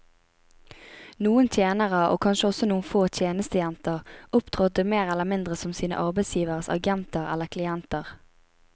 Noen tjenere, og kanskje også noen få tjenestejenter, opptrådte mer eller mindre som sine arbeidsgiveres agenter eller klienter.